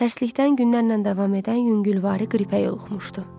Tərslikdən günlərlə davam edən yüngülvari qripə yoluxmuşdu.